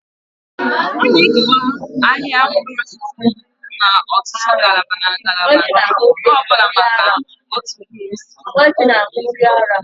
A na-ekewa ahịa mkpụrụ osisi n'ọtụtụ ngalaba na ngalaba, nke ọ bụla bụ maka otu mkpụrụ osisi.